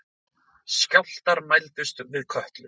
Skjálftar mældust við Kötlu